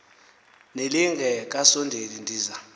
nelinge kasondeli ndiza